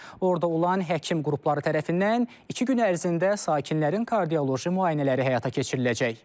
Orada olan həkim qrupları tərəfindən iki gün ərzində sakinlərin kardioloji müayinələri həyata keçiriləcək.